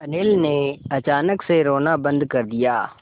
अनिल ने अचानक से रोना बंद कर दिया